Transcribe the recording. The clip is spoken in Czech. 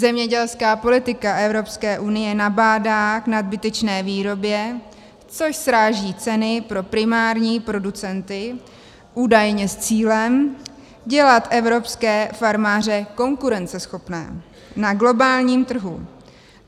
Zemědělská politika Evropské unie nabádá k nadbytečné výrobě, což sráží ceny pro primární producenty údajně s cílem dělat evropské farmáře konkurenceschopné na globálním trhu.